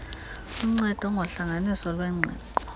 lunceda ngohlanganiso lwengqiqo